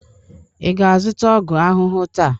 ị ga-azụta ọgwụ ahụhụ taa?